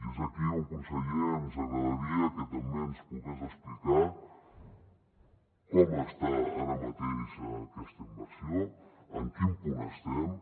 i és aquí on conseller ens agradaria que també ens pogués explicar com està ara mateix aquesta inversió en quin punt estem